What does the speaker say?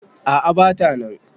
A`a bata nan